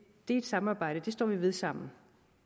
er et samarbejde og det står vi ved sammen